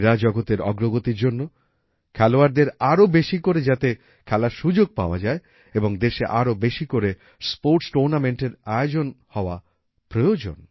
ক্রীড়াজগতের অগ্রগতির জন্য খেলোয়াড়দের আরো বেশি করে খেলার সুযোগ পাওয়া এবং দেশে আরো বেশী করে স্পোর্টস Tournamentএর আয়োজন হওয়া প্রয়োজন